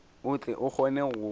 o tle o kgone go